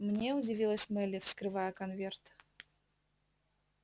мне удивилась мелли вскрывая конверт